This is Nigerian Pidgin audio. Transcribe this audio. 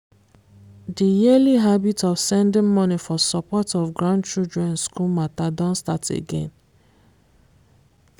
the yearly habit of sending money for support of grandchildren school matter don start again